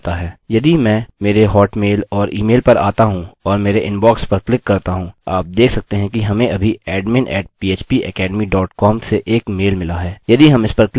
यदि मैं मेरे हॉटमेल और ईमेल पर आता हूँ और मेरे इनबॉक्स पर क्लिक करता हूँ आप देख सकते हैं कि हमें अभी admin @ phpacademy dot com से एक मेल मिला है